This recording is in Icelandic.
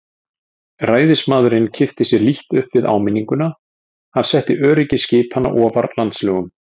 Ræðismaðurinn kippti sér lítt upp við áminninguna, hann setti öryggi skipanna ofar landslögum.